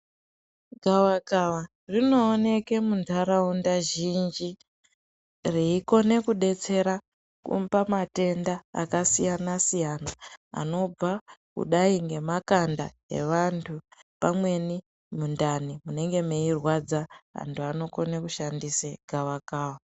Gavakava rinooneke munharaunda zhinji reikone kubetsera pamatenda akasiyana-siyana, anobva kudai nemakanda evantu, pamweni mundani munenge meirwadza, antu anokone kushandise gavakava.